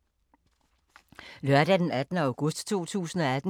Lørdag d. 18. august 2018